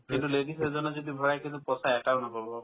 কিন্তু ladies এজনে যদি ভৰাই কিন্তু পচা এটাও নহ'ব